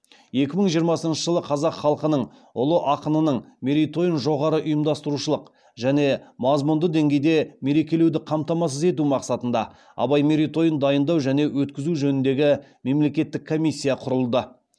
екі мың жиырмасыншы жылы қазақ халқының ұлы ақынының мерейтойын жоғары ұйымдастырушылық және мазмұндық деңгейде мерекелеуді қамтамасыз ету мақсатында абай мерейтойын дайындау және өткізу жөніндегі мемлекеттік комиссия құрылды